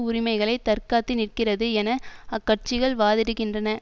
உரிமைகளை தற்காத்து நிற்கிறது என அக்கட்சிகள் வாதிடுகின்றன